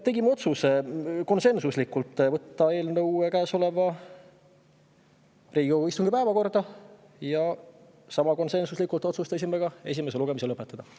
Tegime konsensuslikult otsuse võtta eelnõu käesoleva Riigikogu istungi päevakorda ja sama konsensuslikult otsustasime esimese lugemise lõpetada.